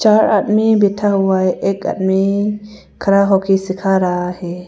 हर आदमी बैठा हुआ है एक आदमी खड़ा होके सीखा रहा है।